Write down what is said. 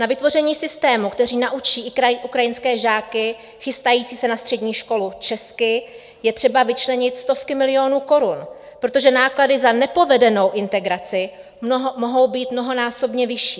Na vytvoření systému, který naučí i ukrajinské žáky chystající se na střední školu česky, je třeba vyčlenit stovky milionů korun, protože náklady za nepovedenou integraci mohou být mnohonásobně vyšší.